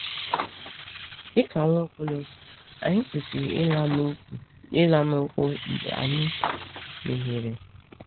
Dị ka Nwaokolo, anyị kwesịrị ịla n’ụkwụ mgbe anyị mehiere.